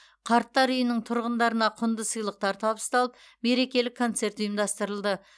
қарттар үйінің тұрғындарына құнды сыйлықтар табысталып мерекелік концерт ұйымдастырылды